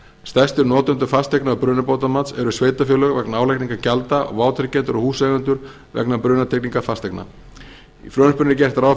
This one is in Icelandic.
stærstu notendur fasteigna og brunabótamats eru sveitarfélög vegna álagningar gjalda og vátryggjendur og húseigendur vegna brunatryggingar fasteigna í frumvarpinu er gert ráð fyrir